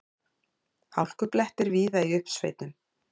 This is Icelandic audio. Hálkublettir víða í uppsveitum